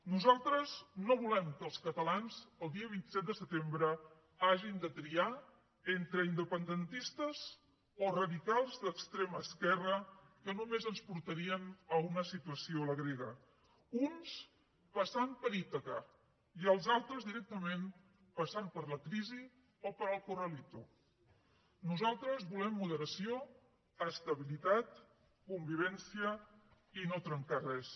nosaltres no volem que els catalans el dia vint set de setembre hagin de triar entre independentistes o radicals d’extrema esquerra que només ens portarien a una situació a la grega uns passant per ítaca i els altres directament passant per la crisi o pel corralito nosaltres volem moderació estabilitat convivència i no trencar res